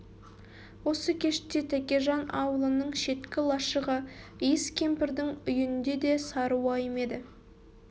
осы кеште тәкежан аулының шеткі лашығы иіс кемпірдің үйінде де сары уайым еді